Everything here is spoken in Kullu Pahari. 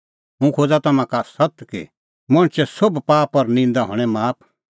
हुंह खोज़ा तम्हां का सत्त कि मणछे सोभ पाप और निंदा हणैं माफ